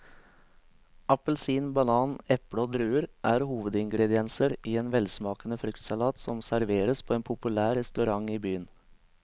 Appelsin, banan, eple og druer er hovedingredienser i en velsmakende fruktsalat som serveres på en populær restaurant i byen.